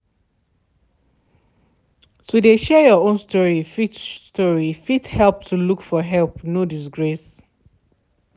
to de share your own story fit story fit help to look for help no disgrace.